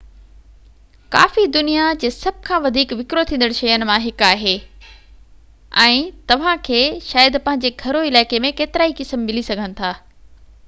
ڪافي دنيا جي سڀ کان وڌيڪ وڪرو ٿيندڙ شين مان هڪ آهي ۽ توهانکي شايد پنهنجي گهرو علائقي ۾ ڪيترائي قسم ملي سگهن ٿا